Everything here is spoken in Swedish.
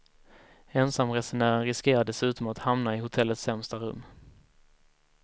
Ensamresenären riskerar dessutom att hamna i hotellets sämsta rum.